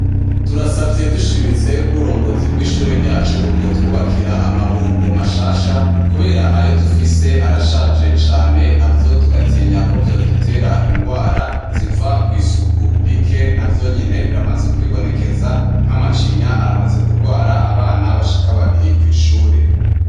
Turasavye dushimitse ko uburongozi bw'ishuri ryacu bwotubakira amabombo mshasha kubera ayo dufise arashaje cane navyo tukatinya ko vyodutera ingwara ziva kw'isuku rike navyonyene biramaze kwibonekeza nka macinya aramaze kurwara abana bashika babibiri kw'ishuri.